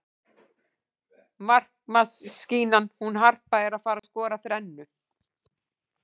Markamaskínan hún Harpa er að fara skora þrennu.